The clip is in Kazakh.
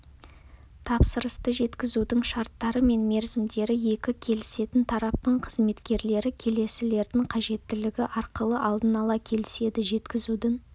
тапсырысты жеткізудің шарттары мен мерзімдері екі келісетін тараптың қызметкерлері келесілердің қажеттілігі арқылы алдын ала келіседі жеткізудің